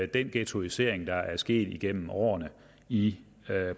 den ghettoisering der er sket igennem årene i